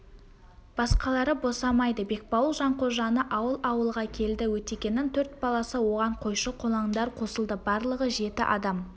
басқалары босамайды бекбауыл жанқожаны алып ауылға келді өтегеннің төрт баласы оған қойшы-қолаңдар қосылды барлығы жеті адам